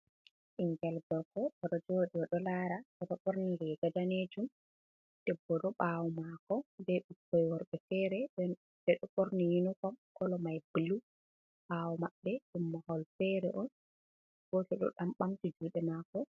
Bingel gorko oɗo jodi oɗo lara oɗo borni riga danejum, debbo ɗo ɓawo mako ɓe bikkon worɓe fere ɓe ɗo ɓorni unifom, colo man bulu, ɓawo maɓɓe ɗum mahol fere goto ɗo ɗan ɓamti juɗe mako.